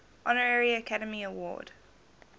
honorary academy award